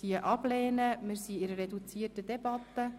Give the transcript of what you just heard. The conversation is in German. Wir führen eine reduzierte Debatte.